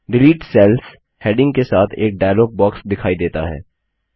delete cells heading के साथ एक डायलॉग बॉक्स दिखाई देता है